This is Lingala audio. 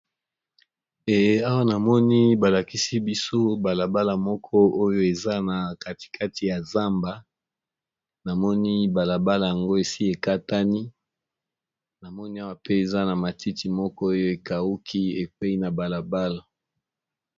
Awa namoni balakisi biso balabala moko oyo eza nakati kati ya zamba namoni balabala ya ngo esi ekatani namoni ba matiti esi ekauki